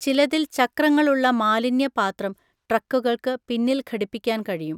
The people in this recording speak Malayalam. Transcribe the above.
ചിലതിൽ ചക്രങ്ങളുള്ള മാലിന്യ പാത്രം ട്രക്കുകൾക്ക് പിന്നിൽ ഘടിപ്പിക്കാൻ കഴിയും.